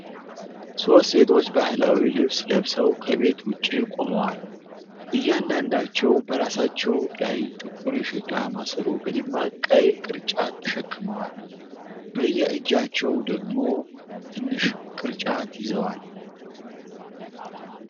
ሶስት ሴቶች ባህላዊ ልብስ ለብሰው ከቤት ውጪ ቆመዋል። እያንዳንዳቸው በራሳቸው ላይ ጥቁር የሸክላ ማሰሮ በደማቅ ቀይ ቅርጫት ተሸክመዋል። በየእጃቸው ደግሞ ትንሽ ቅርጫት ይዘዋል።